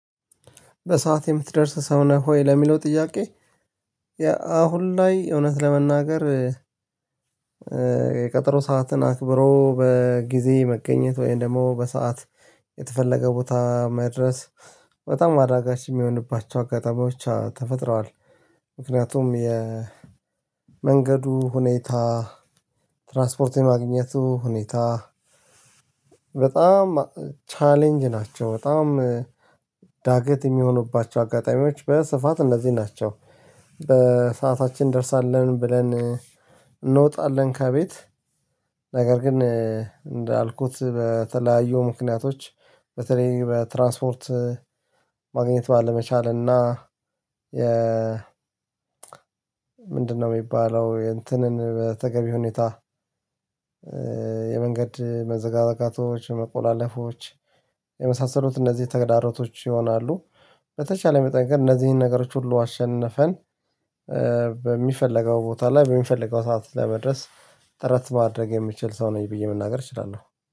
በሰአት የምትደርስ ሰው ነህ ሆይ ለሚለው ጥያቄ? አሁን ላይ እውነት ለመናገር ነገር የቀጠሮ ሰዓትን አክብሮ በጊዜ መገኘት ወይም ደግሞ በሰአት የተፈለገ ቦታ መድረስ። በጣም አዳጋች የሚሆንባቸው አጋጣሚ ብቻ ተፈጥረዋል። ምክንያቱም የመንገዱ ሁኔታ ትራንስፖርት የማግኘቱ ሁኔታ በጣም ቻሌንጅ ናቸው። በጣም ዳገት የሚሆኑባቸው አጋጣሚዎች በስፋት እነዚህ ናቸው። በሰአታችን እንደርሳለን ብለን እንወጣለን ከቤት። ነገር ግን እንዳልኩት በተለያዩ ምክንያቶች በተለይ በትራንስፖርት ማግኘት ባለመቻል እና የ ምንድነው የሚባለው እንትንን በተገቢ ሁኔታ የመንገድ መዘጋጋቶች መቆላለፎች የመሳሰሉት እነዚህ ተግዳሮቶች ይሆናሉ። በተቻለ መጠን እነዚህን ነገሮች ሁሉ አሸንፈን በሚፈልገው ቦታ ላይ በሚፈልገው ሰዓት ለመድረስ ጥረት ማድረግ የምችል ሰው ነኝ ብዬ መናገር እችላለሁ